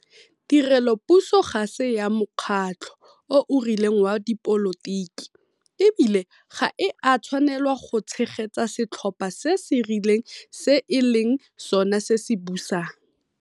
Tirelopuso ga se ya mokgatlho o o rileng wa dipolotiki, e bile ga e a tshwanelwa go tshegetsa setlhopha se se rileng se e leng sona se se busang.